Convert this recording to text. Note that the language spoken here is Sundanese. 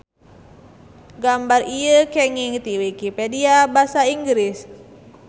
Gambar ieu kenging ti wikipedia basa Inggris.